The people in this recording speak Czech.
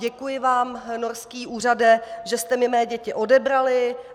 Děkuji vám, norský úřade, že jste mi mé děti odebrali.